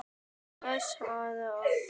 Til hvers að vera dapur?